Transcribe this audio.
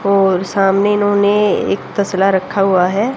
और सामने इन्होंने एक तसला रखा हुआ है।